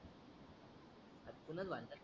अतूनच भांडतात